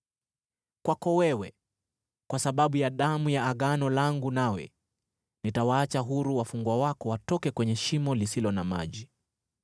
Kwako wewe, kwa sababu ya damu ya Agano langu nawe, nitawaacha huru wafungwa wako watoke kwenye shimo lisilo na maji.